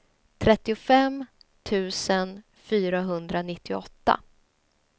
trettiofem tusen fyrahundranittioåtta